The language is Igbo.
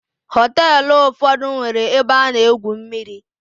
Hoteelu ụfọdụ nwere ebe ana-egwu mmiri.